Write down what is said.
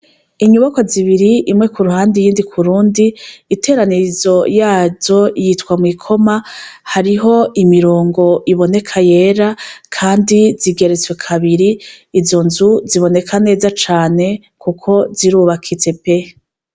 Inyubakwa zibiri imwe kuruhande iyindi kurundi iteranirizo yaryo yitwa mwikoma kandi zigeretse kabiri, izo nzu ziboneka neza kuko zirubakitse pe.